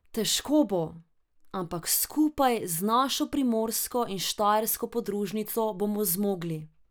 Težko bo, ampak skupaj z našo primorsko in štajersko podružnico bomo zmogli!